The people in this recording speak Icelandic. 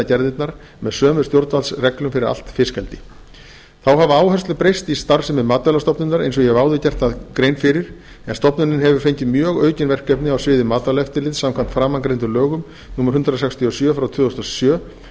gerðirnar með sömu stjórnvaldsreglum fyrir allt fiskeldi þá hafa áherslur breyst í starfsemi matvælastofnunar eins og ég hef áður gert grein fyrir en stofnunin hefur fengið mjög aukin verkefni á sviði matvælaeftirlits samkvæmt framangreindum lögum númer hundrað sextíu og sjö tvö þúsund og sjö